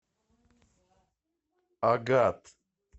агат